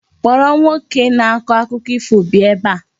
Kpọrọ nwoke na-akọ akụkọ ifo bịa ebe a!